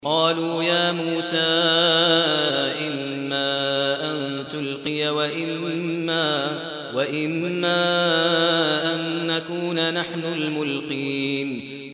قَالُوا يَا مُوسَىٰ إِمَّا أَن تُلْقِيَ وَإِمَّا أَن نَّكُونَ نَحْنُ الْمُلْقِينَ